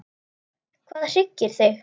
Hvað hryggir þig?